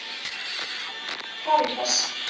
Karítas